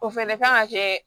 O fɛnɛ kan ka kɛ